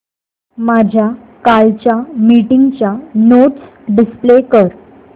माझ्या कालच्या मीटिंगच्या नोट्स डिस्प्ले कर